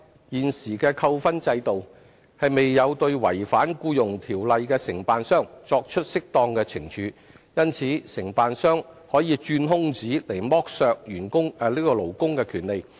現時的扣分制度未有對違反《僱傭條例》的承辦商作出適當懲處，因此承辦商可以鑽空子剝削勞工的權利。